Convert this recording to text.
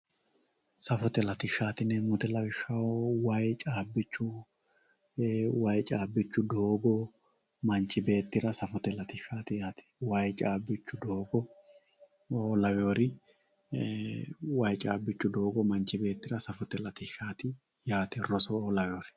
safote latishshaati yineemmohu lawishshaho way caabbichu way caabbichu doogo manchi beettira safote latishshaati yaate way caabbichu doogo lawawoori way caabbichu doogo manchi beettira safote latishsha yaate roso lawawoori